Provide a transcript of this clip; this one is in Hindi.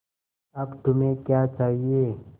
अब तुम्हें क्या चाहिए